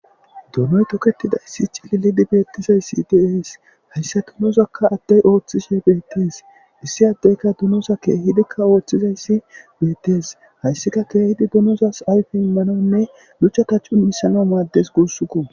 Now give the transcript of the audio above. Duunoy toketida issi cililidi beettizayssi deees hayssa tunozakka addey ooththishe beettes issi addeyka dunosa keehidikka ooththizayssi beettes hayssika keehidi dunozas ayfi immanonne luchata cun misano maaddes guussukko.